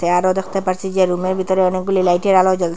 আরো দ্যাখতে পারছি যে রুমের বিতরে অনেকগুলি লাইটের আলো জ্বলসে।